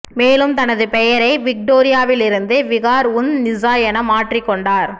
மேலும் தனது பெயரை விக்டோரியாவிலிருந்து விகார் உன் நிசா என மாற்றிக் கொண்டார்